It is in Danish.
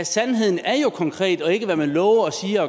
sandheden er jo konkret den er ikke hvad man lover siger